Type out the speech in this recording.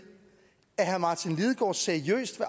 at herre martin lidegaard seriøst